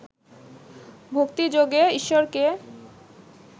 ভক্তিযোগে ঈশ্বরকে